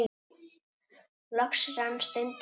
Loks rann stundin upp.